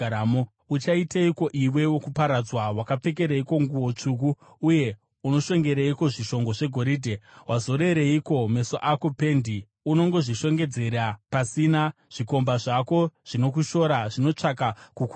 Uchaiteiko, iwe wokuparadzwa? Wapfekereiko nguo tsvuku, uye unoshongereiko zvishongo zvegoridhe? Wazorereiko meso ako pendi? Unongozvishongedzera pasina. Zvikomba zvako zvinokushora; zvinotsvaka kukuuraya.